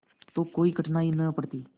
तो कोई कठिनाई न पड़ती